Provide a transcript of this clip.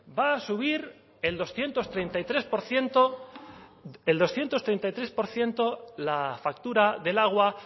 va a subir en doscientos treinta y tres por ciento la factura del agua